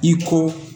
I ko